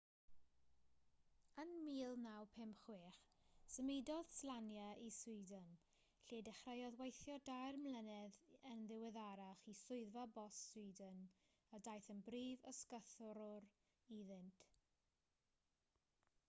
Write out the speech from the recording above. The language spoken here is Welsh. yn 1956 symudodd slania i sweden lle dechreuodd weithio dair blynedd yn ddiweddarach i swyddfa bost sweden a daeth yn brif ysgythrwr iddynt